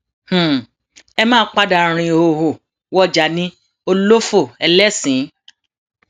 ẹ máa um padà rin ìhòòhò wọjà ní òlófọ ẹlẹsìnín